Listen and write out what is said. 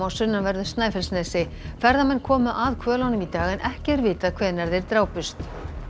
á sunnanverðu Snæfellsnesi ferðamenn komu að hvölunum í dag en ekki er vitað hvenær þeir drápust